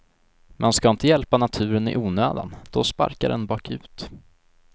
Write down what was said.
Man ska inte hjälpa naturen i onödan, då sparkar den bakut.